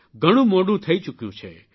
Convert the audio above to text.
ઘણું મોડું થઇ ચૂક્યું છે